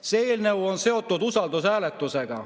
See eelnõu on seotud usaldushääletusega.